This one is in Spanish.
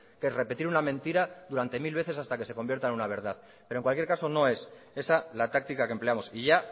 que es repetir una mentira durante mil veces hasta que se convierta en una verdad pero en cualquier caso no es esa la táctica que empleamos y ya